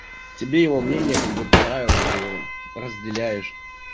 тебе его мнение как бы понравилось ты его разделяешь